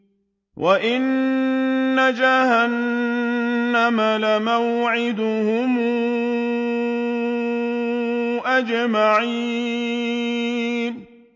وَإِنَّ جَهَنَّمَ لَمَوْعِدُهُمْ أَجْمَعِينَ